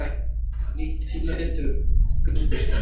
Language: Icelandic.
Nýtt tímarit hefur göngu sína